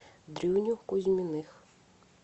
дрюню кузьминых